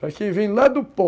Para quem vem lá do pó,